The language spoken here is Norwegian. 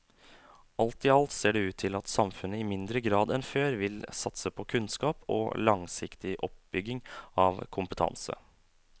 Alt i alt ser det ut til at samfunnet i mindre grad enn før vil satse på kunnskap og langsiktig oppbygging av kompetanse.